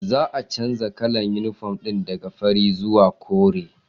Za a canja kalar inifom ɗin daka fari zuwa kore